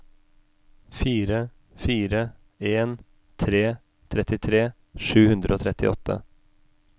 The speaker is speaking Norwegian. fire fire en tre trettitre sju hundre og trettiåtte